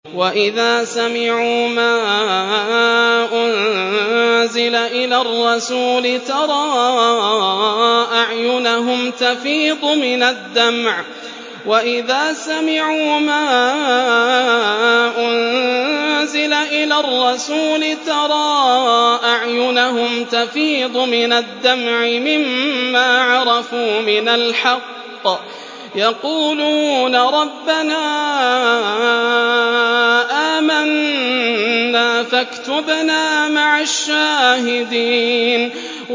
وَإِذَا سَمِعُوا مَا أُنزِلَ إِلَى الرَّسُولِ تَرَىٰ أَعْيُنَهُمْ تَفِيضُ مِنَ الدَّمْعِ مِمَّا عَرَفُوا مِنَ الْحَقِّ ۖ يَقُولُونَ رَبَّنَا آمَنَّا فَاكْتُبْنَا مَعَ الشَّاهِدِينَ